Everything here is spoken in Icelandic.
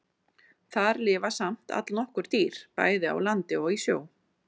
Þar lifa samt allnokkur dýr, bæði á landi og í sjó.